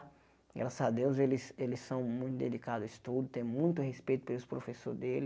Graças a Deus eles eles são muito delicados ao estudo, têm muito respeito pelos professores dele.